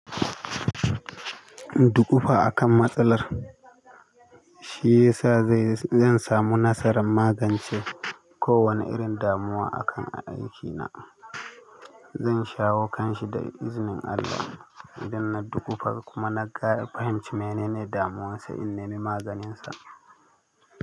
Dukufa akan matsalar, shi ya sa zan samu nasarar magance kowane irin damuwa akan aikina. Zan shawo kanshi da izinin Allah idan na dukufa kuma na fahimci menene damuwarsa in nemi maganinsa.